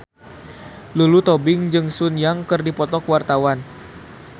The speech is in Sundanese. Lulu Tobing jeung Sun Yang keur dipoto ku wartawan